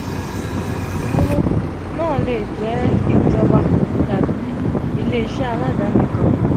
oluyawo naa le jẹ ijọba tabi ile-iṣẹ aladani kan.